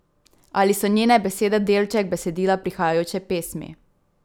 Ali so njene besede delček besedila prihajajoče pesmi?